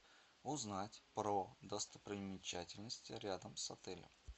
узнать про достопримечательности рядом с отелем